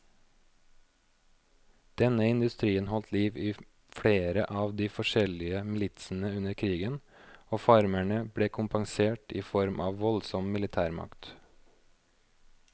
Denne industrien holdt liv i flere av de forskjellige militsene under krigen, og farmerne ble kompensert i form av voldsom militærmakt.